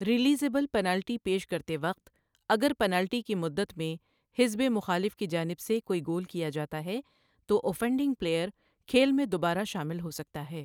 Realisable penalty پیش کرتے وقت، اگر پنالٹی کی مدت میں حزب مخالف کی جانب سے کوئی گول کیا جاتا ہے تو اوفینڈنگ پلییر کھیل میں دوبارہ شامل ہو سکتا ہے۔